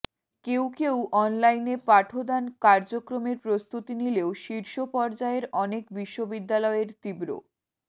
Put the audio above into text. কেউ কেউ অনলাইনে পাঠদান কার্যক্রমের প্রস্তুতি নিলেও শীর্ষপর্যায়ের অনেক বিশ্ববিদ্যালয় এর তীব্র